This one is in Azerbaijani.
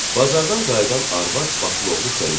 Bazardan qayıdan arvad başılovlu içəri girdi.